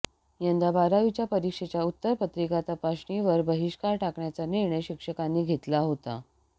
यंदा बारावीच्या परीक्षेच्या उत्तरपत्रिका तपासणीवर बहिष्कार टाकण्याचा निर्णय शिक्षकांनी घेतला होता